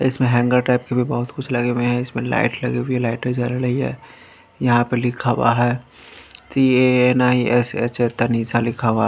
इसमें hanger type के भी बहुत कुछ लगे हुए हैं इसमें लाइट लगी हुई है लाइटें जल रही है यहां पर लिखा हुआ है C_ A_ N_ I_ S _H Tanisa लिखा हुआ है।